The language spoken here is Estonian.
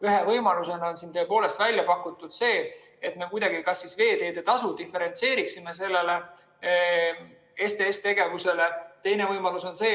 Ühe võimalusena on pakutud seda, et me kuidagi veeteetasu diferentseeriksime selle STS‑tegevuse korral.